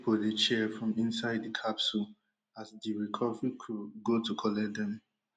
you go hear pipo dey cheer from inside di capsule as di recovery crew go to collect dem